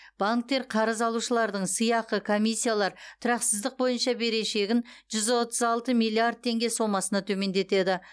банктер қарыз алушылардың сыйақы комиссиялар тұрақсыздық бойынша берешегін жүз отыз алты миллиард теңге сомасына төмендетеді